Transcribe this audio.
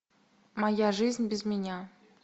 моя жизнь без меня